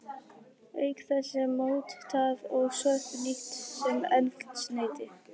Auk þess er mór, tað og sorp nýtt sem eldsneyti.